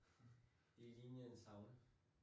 Det lignende en sauna